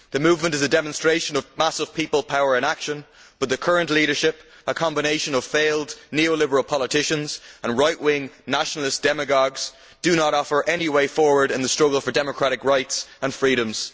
The movement is a demonstration of massive people power in action, but the current leadership a combination of failed neoliberal politicians and right wing nationalist demagogues does not offer any way forward in the struggle for democratic rights and freedoms.